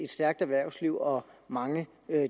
stærkt erhvervsliv og mange